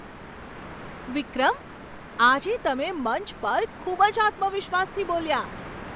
વિક્રમ! આજે તમે મંચ પર ખૂબ જ આત્મવિશ્વાસથી બોલ્યા.